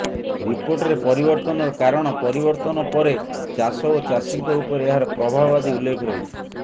ରିପୋର୍ଟରେ ପରିବର୍ତ୍ତନର କାରଣ ପରିବର୍ତ୍ତନ ପରେ ଚାଷ ଓ ଚାଷୀଙ୍କ ଉପରେ ଏହାର ପ୍ରଭାବ ଆଦି ଉଲ୍ଲେଖ ରହିଛି